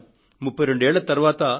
32 సంవత్సరాల అనంతరం పి